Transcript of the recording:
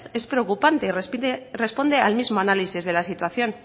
es preocupante y responde al mismo análisis de la situación